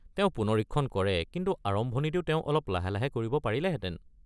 তেওঁ পুনৰীক্ষণ কৰে কিন্তু আৰম্ভণিটো তেওঁ অলপ লাহে লাহে কৰিব পাৰিলেহেঁতেন।